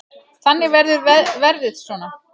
Þannig verður verðið svona.